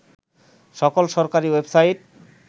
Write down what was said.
সকল সরকারি ওয়েবসাইট